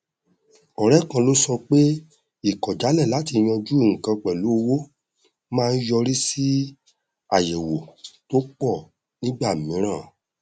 ọrẹ kan ló sọ pé ìkọjálẹ láti yanjú nnkan pẹlú owó maá n yọrí sí àyẹwò tó pọ nígbà mìíràn